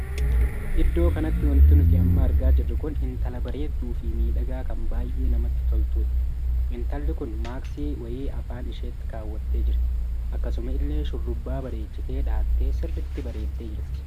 Iddoo kanatti wanti nuti amma argaa jirru kun intala bareedduu fi miidhagaa kan baay'ee namatti toltudha. intalli kun maaksii wayii Afaan isheetti kawwattee jirti. akkasuma illee shurrubbaa bareechitee dhaa'attee sirriitti bareeddee jirti.